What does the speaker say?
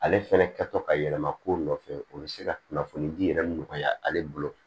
Ale fɛnɛ kɛtɔ ka yɛlɛma kow nɔfɛ o be se ka kunnafoni di yɛrɛ nɔgɔya ale bolo